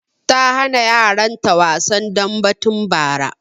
Ta hana yaran ta wasan dambe tun bara